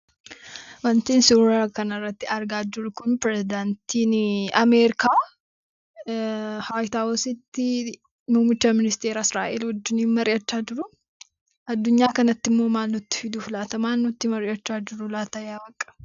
Wanti suuraa kanarratti argaa jirru kun pirezidaantii Ameerikaa waayit haawusitti muummicha ministeeraa Israa'eel waliin mari'achaa jiru. Addunyaa kanattimmoo maal nutti fiduufi laata maalirratti mari'achaa jiru laata yaa waaq!